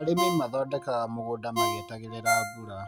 Arĩmi mathondekaga mũgũnda magĩetagĩrĩra mbura.